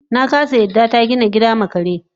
nakasa yarda yarda tagina gida ma kare